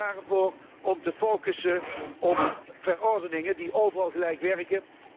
Ik pleit er al jaren voor om te focussen op verordeningen die overal gelijk werken.